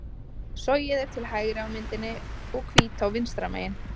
Sogið er til hægri á myndinni og Hvítá vinstra megin.